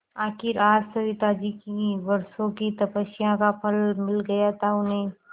आखिर आज सविताजी की वर्षों की तपस्या का फल मिल गया था उन्हें